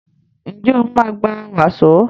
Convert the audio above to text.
Njé o ma gbà waso?